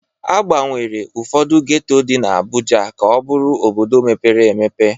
Agbanwere ụfọdụ geto dị n'Abuja ka ọ bụrụ obodo mepere emepe.